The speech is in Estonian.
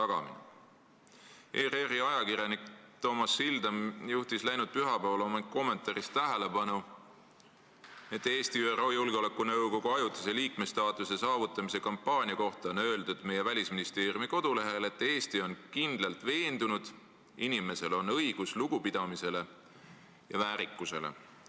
ERR-i ajakirjanik Toomas Sildam juhtis läinud pühapäeval oma kommentaaris tähelepanu, et meie Välisministeeriumi kodulehel on Eesti ÜRO Julgeolekunõukogu ajutise liikme staatuse saamise kampaania kohta öeldud, et Eesti on kindlalt veendunud, et inimesel on õigus lugupidamisele ja väärikusele.